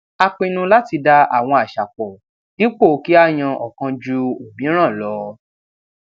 a pinnu láti da àwọn àṣà pò dípò kí á yan òkan ju òmíràn lọ